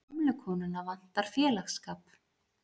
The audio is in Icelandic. Gömlu konuna vantar félagsskap.